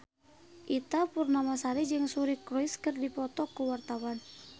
Ita Purnamasari jeung Suri Cruise keur dipoto ku wartawan